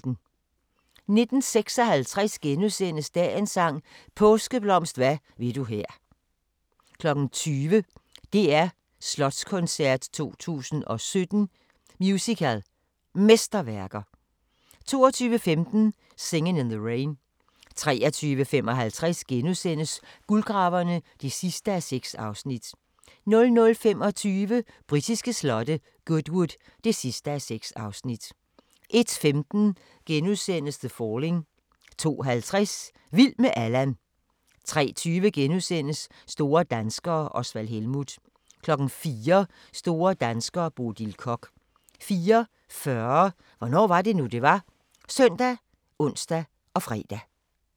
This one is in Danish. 19:56: Dagens sang: Påskeblomst hvad vil du her * 20:00: DR Slotskoncert 2017 – Musical Mesterværker 22:15: Singin' in the Rain 23:55: Guldgraverne (6:6)* 00:25: Britiske slotte: Goodwood (6:6) 01:15: The Falling * 02:50: Vild med Allan 03:20: Store danskere - Osvald Helmuth * 04:00: Store danskere - Bodil Koch 04:40: Hvornår var det nu, det var? ( søn, ons, fre)